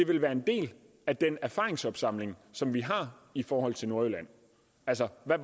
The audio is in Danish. vil være en del af den erfaringsopsamling som vi har i forhold til nordjylland altså hvad